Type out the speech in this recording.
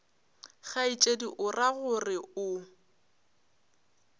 kgaetšedi o ra gore o